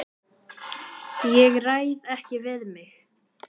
Ég ræð ekki við mig.